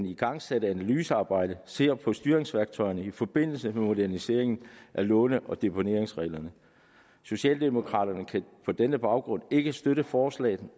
igangsatte analysearbejde ser på styringsværktøjerne i forbindelse med moderniseringen af låne og deponeringsreglerne socialdemokraterne kan på denne baggrund ikke støtte forslaget